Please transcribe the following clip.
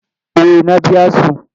Eh na biya su.